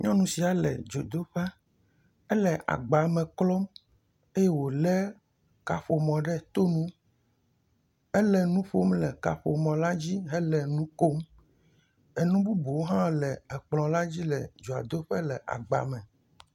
Nyɔnu sia le dzodoƒe. Ele agbalẽ klɔm eye wole kaƒomɔ ɖe tɔ nu. Ele nuƒom le kaƒomɔ la dzi le nu kom. Enu bubuwo hã le kplɔa le dzi le dzodoƒe le agba ma.